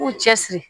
K'u cɛ siri